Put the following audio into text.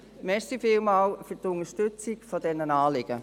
Vielen Dank für die Unterstützung dieser Anliegen.